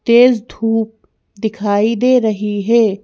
तेज धूप दिखाई दे रही है।